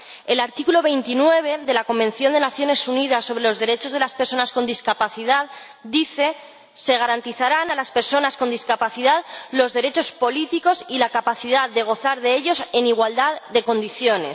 El artículo 29 de la Convención de las Naciones Unidas sobre los derechos de las personas con discapacidad dice que se garantizarán a las personas con discapacidad los derechos políticos y la capacidad de gozar de ellos en igualdad de condiciones.